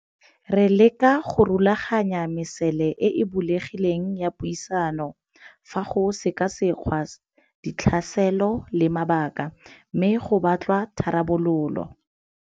Re leka go rulaganya mesele e e bulegileng ya puisano fa go sekasekgwa ditlhaselo le mabaka, mme go batlwa tharabololo.